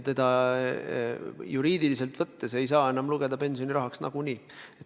Juriidiliselt võttes seda ei saa enam pidada pensionirahaks nagunii.